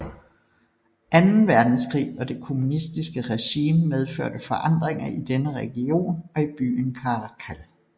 Anden Verdenskrig og det kommunistiske regime medførte forandringer i denne region og i byen Caracal